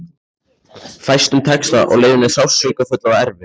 Fæstum tekst það og leiðin er sársaukafull og erfið.